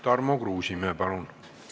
Tarmo Kruusimäe, palun!